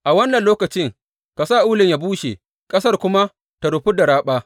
A wannan lokaci ka sa ulun yă bushe, ƙasar kuma ta rufu da raɓa.